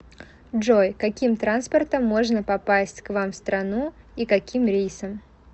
джой каким транспортом можно попасть к вам в страну и каким рейсом